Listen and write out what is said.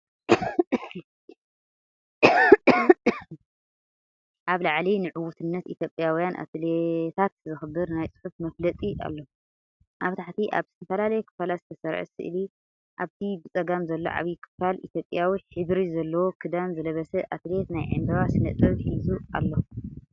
ኣብ ላዕሊ ንዕውትነት ኢትዮጵያውያን ኣትሌታት ዘኽብር ናይ ጽሑፍ መፋለጢ ኣሎ። ኣብ ታሕቲ ኣብ ዝተፈላለየ ክፋላት ዝተሰርዐ ስእሊ፤ ኣብቲ ብጸጋም ዘሎ ዓቢ ክፋል፡ ኢትዮጵያዊ ሕብሪ ዘለዎ ክዳን ዝለበሰ ኣትሌት፡ ናይ ዕምባባ ስነ-ጥበብ ሒዙ ኣሎ።